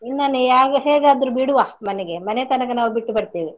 ನಿನ್ನನ್ನು ಹೇಗಾದ್ರು ಬಿಡುವ ಮನೆಗೆ ಮನೆತನಕ ನಾವು ಬಿಟ್ಟು ಬರ್ತೇವೆ.